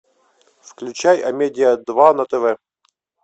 включай амедиа два на тв